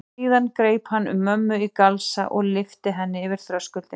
Síðan greip hann um mömmu í galsa og lyfti henni yfir þröskuldinn.